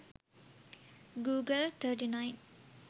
google39